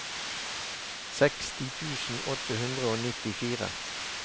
seksti tusen åtte hundre og nittifire